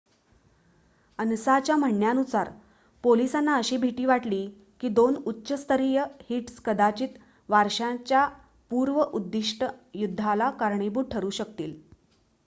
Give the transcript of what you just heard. "अनसाच्या म्हणण्यानुसार "पोलिसांना अशी भीती वाटली की दोन उच्च-स्तरीय हिट्स कदाचित वारशाच्या पूर्ण-उद्दीष्टित युद्धाला कारणीभूत ठरू शकतील.